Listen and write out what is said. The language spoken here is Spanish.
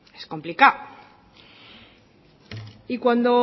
es complicado y cuando